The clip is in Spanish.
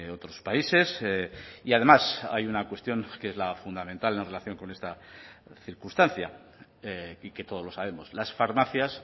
otros países y además hay una cuestión que es la fundamental en relación con esta circunstancia y que todos lo sabemos las farmacias